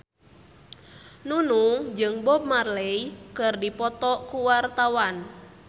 Nunung jeung Bob Marley keur dipoto ku wartawan